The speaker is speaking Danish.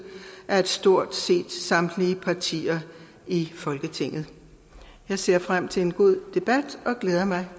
af stort set samtlige partier i folketinget jeg ser frem til en god debat og glæder mig